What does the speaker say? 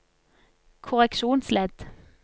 korreksjonsledd